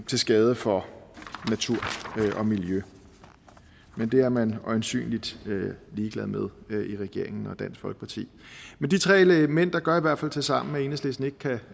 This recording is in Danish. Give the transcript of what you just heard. til skade for natur og miljø men det er man øjensynlig ligeglad med i regeringen og dansk folkeparti men de tre elementer gør i hvert fald tilsammen at enhedslisten ikke kan